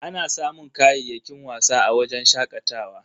Ana samun kayayyakin wasa a wajen shakatawa.